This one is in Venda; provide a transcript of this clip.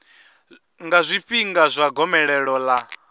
nga zwifhinga zwa gomelelo ḽa